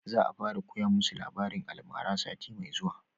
Za a fara koya musu labarin almara sati mai zuwa